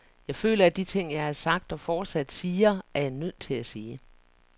Jeg føler, at de ting jeg har sagt og fortsat siger, er jeg nødt til at sige.